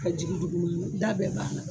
Ka jigin duguma, da bɛ b'a la.